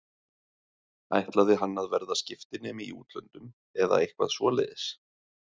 Ætlaði hann að verða skiptinemi í útlöndum eða eitthvað svoleiðis?